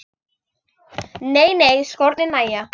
Nei nei, skórnir nægja.